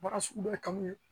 Baara sugu dɔ kanu ye